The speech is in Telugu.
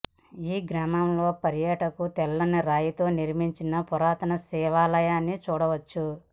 ఈ గ్రామంలో పర్యాటకులు తెల్లని రాయితో నిర్మించిన పురాతన శివాలయాన్ని చూడవచ్చు